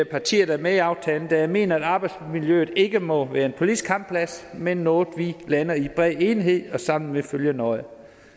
partier der er med i aftalen da jeg mener at arbejdsmiljøet ikke må være en politisk kampplads men noget vi lander i bred enighed og sammen vil følge nøje